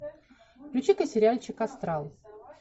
включи ка сериальчик астрал